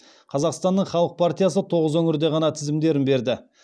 қазақстанның халық партиясы тоғыз өңірде ғана тізімдерін берді